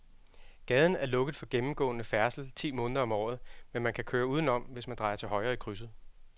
Gaden er lukket for gennemgående færdsel ti måneder om året, men man kan køre udenom, hvis man drejer til højre i krydset.